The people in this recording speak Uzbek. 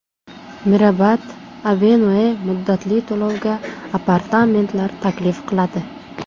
Mirabad Avenue muddatli to‘lovga apartamentlar taklif qiladi.